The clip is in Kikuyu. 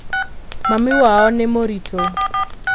Mami wao nĩmũritũ.